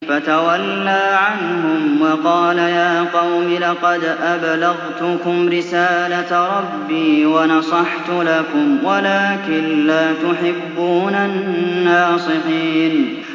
فَتَوَلَّىٰ عَنْهُمْ وَقَالَ يَا قَوْمِ لَقَدْ أَبْلَغْتُكُمْ رِسَالَةَ رَبِّي وَنَصَحْتُ لَكُمْ وَلَٰكِن لَّا تُحِبُّونَ النَّاصِحِينَ